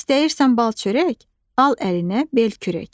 İstəyirsən bal çörək, al əlinə bel kürək.